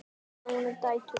Bjarni, Helga og dætur.